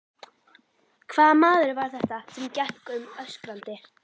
Hvaða maður var þetta sem gekk um öskrandi?